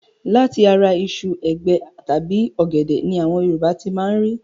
Láti ara iṣu, ègé tàbí ọ̀gẹ̀dẹ̀ ni àwọn Yorùbá ti máa ń rí